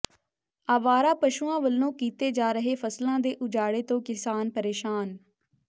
ਆਵਾਰਾ ਪਸ਼ੂਆਂ ਵਲੋਂ ਕੀਤੇ ਜਾ ਰਹੇ ਫ਼ਸਲਾਂ ਦੇ ਉਜਾੜੇ ਤੋਂ ਕਿਸਾਨ ਪ੍ਰੇਸ਼ਾਨ